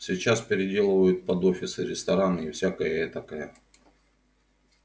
сейчас переделывают под офисы рестораны и всякое этакое